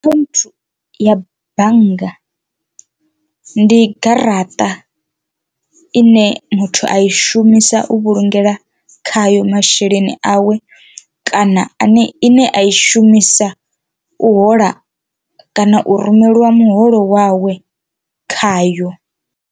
Akhaunthu ya bannga ndi garaṱa ine muthu a i shumisa u vhulungela khayo masheleni awe kana ane ine a i shumisa u hola kana u rumeliwa muholo wawe khayo.